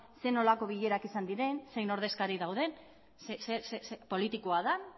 zer nolako bilerak izan diren zein ordezkari dauden politikoa den